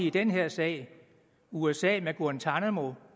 i den her sag usa med guantánamo